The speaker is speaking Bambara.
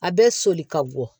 A bɛ soli ka bɔ